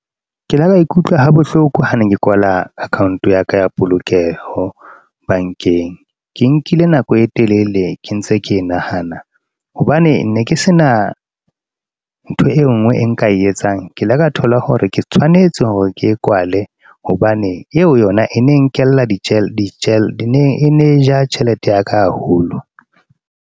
Ke le ka ikutlwa ha bohloko ha ne ke kwala account ya ka ya polokeho, bank-eng. Ke nkile nako e telele, ke ntse ke e nahana. Hobane ne ke sena, ntho e nngwe e nka e etsang. Ke ile ka thola hore ke tshwanetse hore ke kwale. Hobane eo yona e ne nkella di tjhelete. E ne e ja tjhelete ya ka haholo.